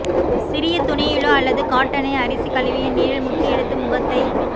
சிறிய துணியிலோ அல்லது காட்டனை அரிசி கழுவிய நீரில் முக்கியெடுத்து முகத்தை